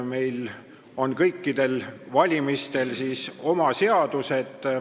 Meil on iga valimise jaoks oma seadus.